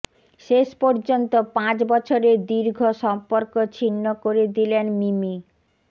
শেষ পর্যন্ত পাঁচ বছরের দীর্ঘ সম্পর্ক ছিন্ন করে দিলেন মিমি